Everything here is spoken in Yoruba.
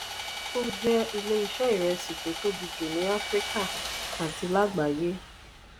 o jẹ ilé iṣé iresi tó tóbi jù ní áfíríkà àti lágbayé.